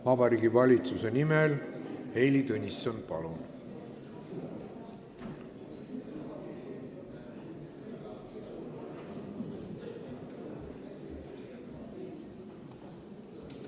Vabariigi Valitsuse nimel Heili Tõnisson, palun!